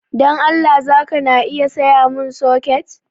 Dan Allah zaka na iya sayamun soket?